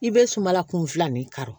I bɛ sumala kun filanin kari